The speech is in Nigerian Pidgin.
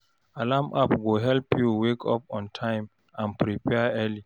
Alarm app go help you wake up on time and prepare early.